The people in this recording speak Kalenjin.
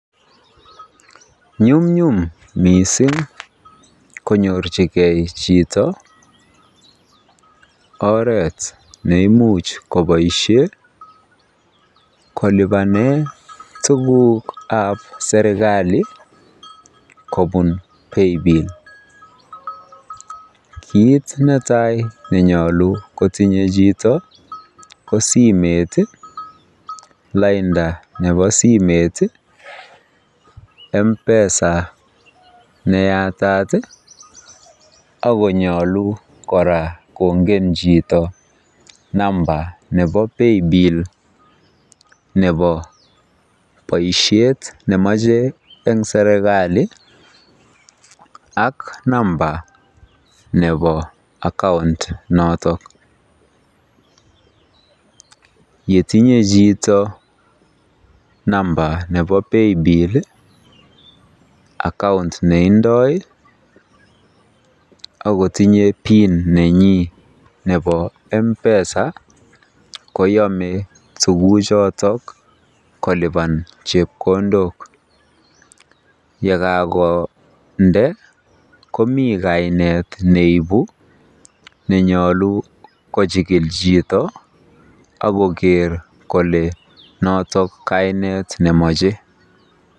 Nyumnyum mising' konyorchigei chito oret neimuch kopaishe kolipane tuguk ab serikalit kopun paybill kiit netai nenyolu kotinyei chito ko simet lainda nepo simet Mpesa neyatat akonyolu koraa kongen chito namba nepo paybill nemache eng' serikalit ak namba nepo account notok, yetinye chito namba nepo paybill account neindoi akotinye pin nenyii nepo Mpesa koyame tuguk chotok kolipan chepkondok yekagonde komii kainet neipu nenyolu kochikil chito akoger kole notok kainet nemache.